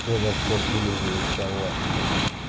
когда кот вылизывает халат блять